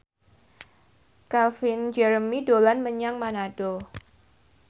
Calvin Jeremy dolan menyang Manado